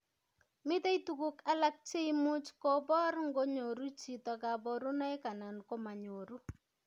Mitei tuguk alak cheimuch kobor ngonyoru chito kaborunoik anan komanyoru